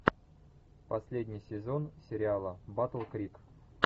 последний сезон сериала батл крик